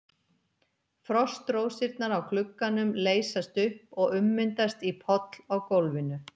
Frostrósirnar á glugganum leysast upp og ummyndast í poll á gólfinu.